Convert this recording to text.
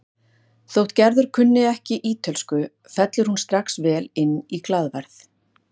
Þótt Gerður kunni ekki ítölsku fellur hún strax vel inn í glaðværð